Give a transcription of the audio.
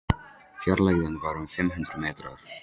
Fjarlægðin var um fimm hundruð metrar.